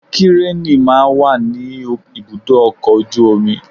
Kírènì máa ń wà ní ibùdó ọkọ̀ ojú omi